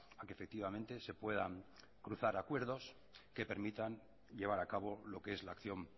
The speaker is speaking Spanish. a que efectivamente se puedan cruzar acuerdos que permitan llevar a cabo lo que es la acción